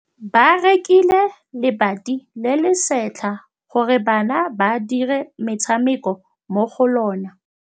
Ba rekile lebati le le setlha gore bana ba dire motshameko mo go lona.